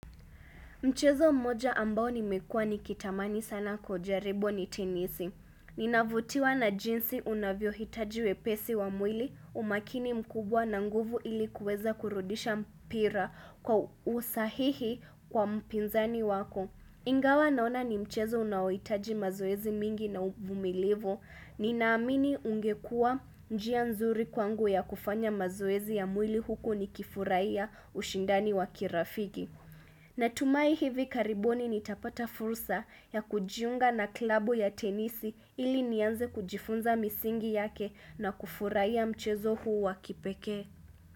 Mchezo mmoja ambao nimekua nikitamani sana kuujaribu ni tenisi. Ninavutiwa na jinsi unavy hitaji wepesi wa mwili umakini mkubwa na nguvu ili kuweza kurudisha mpira kwa usahihi kwa mpinzani wako. Ingawa naona ni mchezo unaohitaji mazoezi mingi na uvumilivu. Ninaamini ungekuwa njia nzuri kwangu ya kufanya mazoezi ya mwili huku nikifurahia ushindani wa kirafiki. Natumai hivi karibuni nitapata fursa ya kujiunga na klabu ya tenisi ili nianze kujifunza misingi yake na kufurahia mchezo huu wa kipekee.